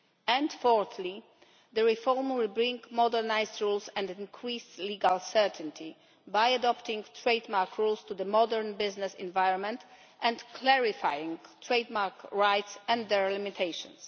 And fourthly, the reform will bring modernised rules and increased legal certainty by adapting trade mark rules to the modern business environment and clarifying trade mark rights and their limitations.